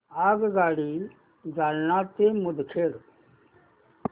आगगाडी जालना ते मुदखेड